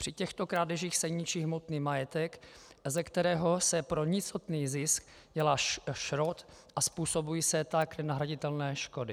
Při těchto krádežích se ničí hmotný majetek, ze kterého se pro nicotný zisk dělá šrot, a způsobují se tak nenahraditelné škody.